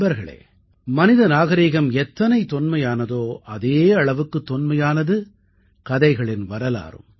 நண்பர்களே மனித நாகரிகம் எத்தனை தொன்மையானதோ அதே அளவுக்குத் தொன்மையானது கதைகளின் வரலாறும்